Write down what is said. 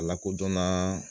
A lakodɔnna